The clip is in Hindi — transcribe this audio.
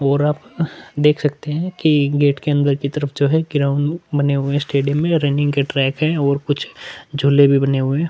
और आपका आप देख सकते है गेट के अंदर की तरफ जो है ग्राउंड बने हुए है स्टेडियम में और रनिंग के ट्रैक है और कुछ झूले भी बने हुए है।